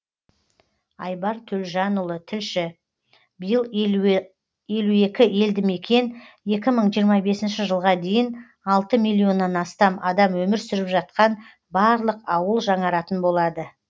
айбар төлжанұлы тілші биыл елу екі елдімекен екі мың жиырма бесінші жылға дейін алты миллионнан астам адам өмір сүріп жатқан барлық ауыл жаңаратын болады